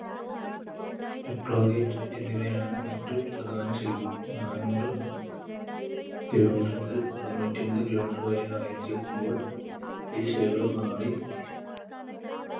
Eclavite എന്നിവയാണ് മറ്റു പ്രദാന ശിലകൾ നാനൂറ്‌ kilometer മുതൽ അറുനൂറ്റമ്പത് kilometer വരെ ആഴത്തിൽ എത്തുമ്പോൾ ഈ ശിലകൾ മാറി